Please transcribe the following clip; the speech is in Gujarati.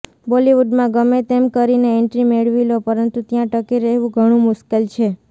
બોલિવુડમાં ગમે તેમ કરીને એન્ટ્રી મેળવી લો પરંતુ ત્યાં ટકી રહેવું ઘણુ મુશ્કેલ છે